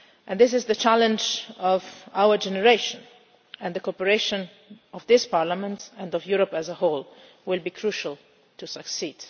time. This is the challenge of our generation, and the cooperation of this Parliament and of Europe as a whole will be crucial to its success.